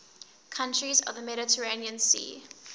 countries of the mediterranean sea